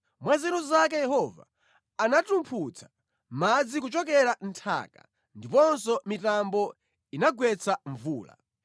Mwa nzeru zake Yehova anatumphutsa madzi kuchokera mʼnthaka ndiponso mitambo inagwetsa mvula.